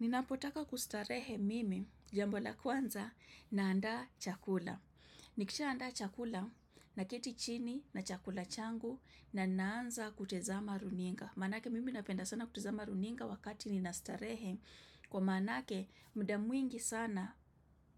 Ninapotaka kustarehe mimi jambo la kwanza na anda chakula. Nikishaanda chakula na keti chini na chakula changu na naanza kutazama runinga. Manake mimi napenda sana kutezama runinga wakati ninastarehe. Kwa manake mda mwingi sana